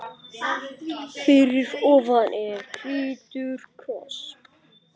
Fyrir ofan er hvítur kross.